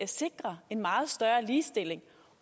sikrer meget større ligestilling